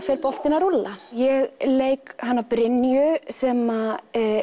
fer boltinn að rúlla ég leik hana Brynju sem